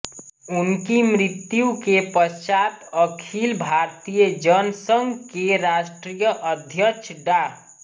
उनकी मृत्यु के पश्चात अखिल भारतीय जनसंघ के राष्ट्रीय अध्यक्ष डा